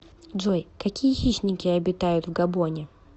джой какие хищники обитают в габоне